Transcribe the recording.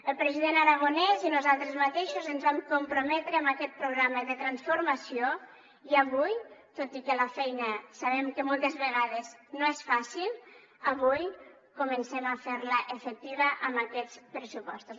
el president aragonès i nosaltres mateixos ens vam comprometre amb aquest programa de transformació i avui tot i que la feina sabem que moltes vegades no és fàcil avui comencem a fer la efectiva amb aquests pressupostos